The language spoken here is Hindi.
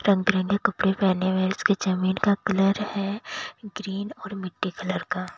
रंग बिरंगे कपड़े पहने हुए उसके जमीन का कलर है ग्रीन और मिट्टी कलर का--